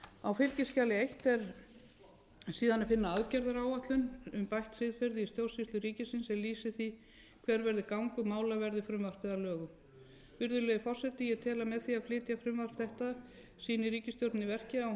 á fylgiskjali eitt er síðan að finna aðgerðaráætlun um bætt siðferði í stjórnsýslu ríkisins er lýsir því hver verði gangur mála verði frumvarpið að lögum virðulegi forseti ég tel að með því að flytja frumvarp þetta sýni ríkisstjórnin í verki að hún